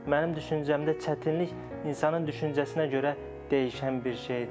Mənim düşüncəmdə çətinlik insanın düşüncəsinə görə dəyişən bir şeydir.